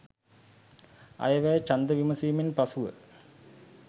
අයවැය ඡන්ද විමසීමෙන් පසු ව